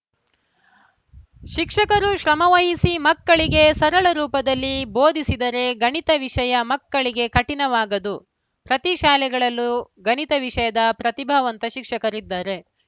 ಶಿಕ್ಷಕರು ಶ್ರಮವಹಿಸಿ ಮಕ್ಕಳಿಗೆ ಸರಳ ರೂಪದಲ್ಲಿ ಬೋಧಿಸಿದರೆ ಗಣಿತ ವಿಷಯ ಮಕ್ಕಳಿಗೆ ಕಠಿಣವಾಗದು ಪ್ರತಿ ಶಾಲೆಗಳಲ್ಲೂ ಗಣಿತ ವಿಷಯದ ಪ್ರತಿಭಾವಂತ ಶಿಕ್ಷಕರಿದ್ದಾರೆ